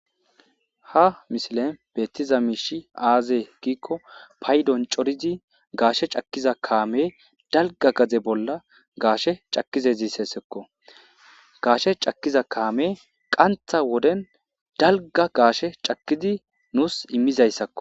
ha misilen beetiza miishi aaze giikko paydon corizi gaashe cakkiza kaame dalga gaze bolla gaashe cakize ziissessekko gaashe cakkiza kaame qantha woden dalga gaashe cakidi nuus immizayssakko